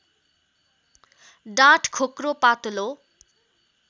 डाँठ खोक्रो पातलो